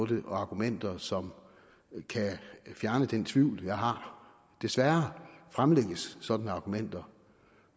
det og argumenter som kan fjerne den tvivl jeg har desværre fremlægges sådanne argumenter